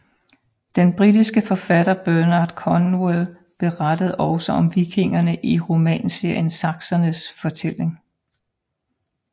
Den britiske forfatter Bernard Cornwell beretter også om vikingerne i romanserien Saksernes fortælling